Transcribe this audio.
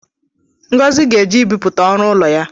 Ngozi ga-eje ịbịpụta ọrụ ụlọ ya